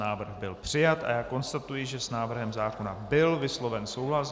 Návrh byl přijat a já konstatuji, že s návrhem zákona byl vysloven souhlas.